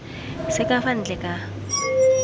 se ka fa ntle ka